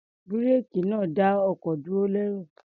Búréèkì náà ń dá ọkọ̀ dúró lẹ́rọ̀.